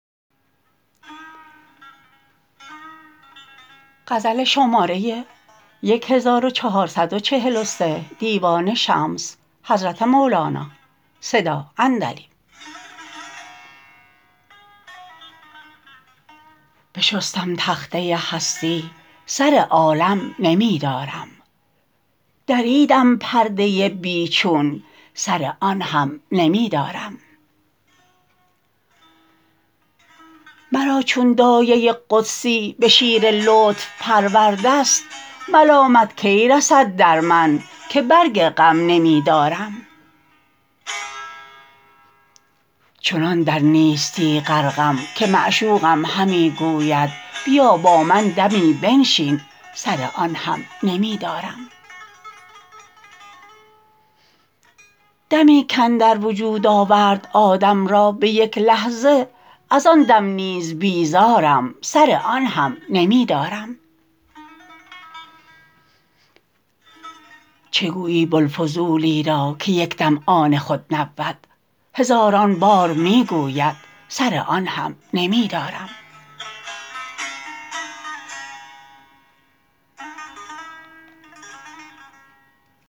بشستم تخته هستی سر عالم نمی دارم دریدم پرده بی چون سر آن هم نمی دارم مرا چون دایه قدسی به شیر لطف پرورده ست ملامت کی رسد در من که برگ غم نمی دارم چنان در نیستی غرقم که معشوقم همی گوید بیا با من دمی بنشین سر آن هم نمی دارم دمی کاندر وجود آورد آدم را به یک لحظه از آن دم نیز بیزارم سر آن هم نمی دارم چه گویی بوالفضولی را که یک دم آن خود نبود هزاران بار می گوید سر آن هم نمی دارم